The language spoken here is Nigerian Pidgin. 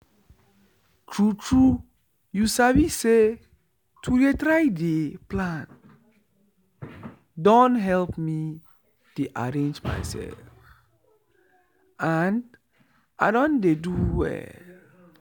true true you sabi say to dey try dey plan don help me dey arrange myself and i don dey do well